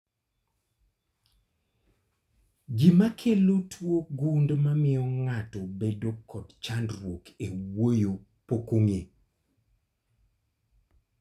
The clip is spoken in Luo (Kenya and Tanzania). Gima kelo tuo gund mamio ng'ato bedo kod chandruok e wuoyo pok ong'e